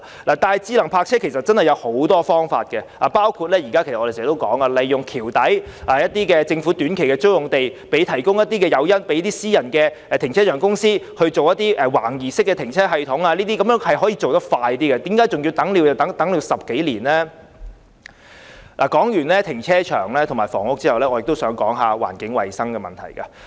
然而，智能泊車有很多方法，包括我們經常提出利用橋底的政府短期租用地，提供誘因予私人停車場公司營運橫移式停車系統。這些建議都可以盡快推行，為何還要等10多年呢？談過停車場和房屋問題後，我也想說說環境衞生的問題。